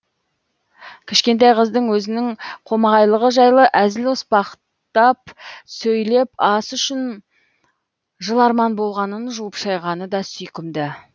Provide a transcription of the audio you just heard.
кішкентай қыздың өзінің қомағайлығы жайлы әзіл оспақтап сөйлеп ас үшін жыларман болғанын жуып шайғаны да сүйкімді